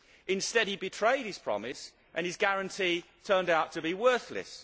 Instead he betrayed his promise and his guarantee turned out to be worthless.